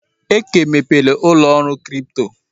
Eke mepere n'ụlọ ọrụ kripto.